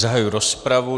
Zahajuji rozpravu.